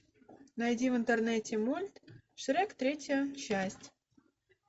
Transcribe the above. найди в интернете мульт шрек третья часть